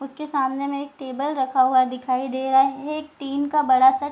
उसके सामने में एक टेबल रखा हुआ है दिखाई दे रहा है एक टिन का बड़ा सा --